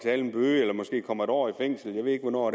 en bøde eller måske kommer en år i fængsel jeg ved ikke hvornår